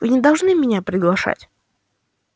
вы не должны меня приглашать